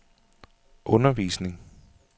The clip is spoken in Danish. undervisning